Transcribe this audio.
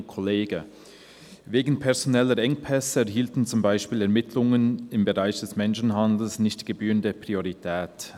«Wegen personeller Engpässe erhielten zum Beispiel Ermittlungen im Bereich des Menschenhandels nicht die gebührende Priorität.